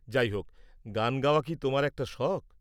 যাই হোক, গান গাওয়া কি তোমার একটা শখ?